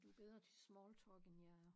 Du er bedre til smalltalk end jeg er